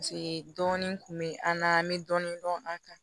Paseke dɔɔnin kun bɛ an na an bɛ dɔɔnin dɔn an kan